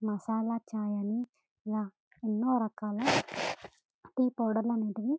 మసాలా చాయ ని ఇలా ఎన్నో రకాల టీ పౌడర్లు అనేటివి --